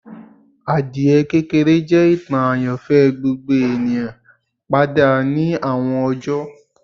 Adie kekere jẹ itan ayanfẹ gbogbo eniyan pada ni awọn ọjọ